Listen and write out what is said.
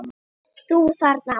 ÞÚ ÞARNA!